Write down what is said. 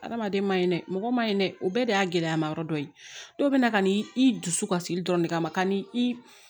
Adamaden ma ɲinɛ mɔgɔ ma ɲinɛ dɛ o bɛɛ de y'a gɛlɛyama yɔrɔ dɔ ye dɔw be na ka na n'i dusu kasili dɔrɔn ne kama ka ni